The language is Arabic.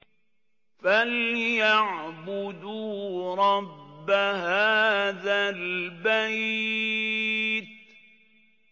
فَلْيَعْبُدُوا رَبَّ هَٰذَا الْبَيْتِ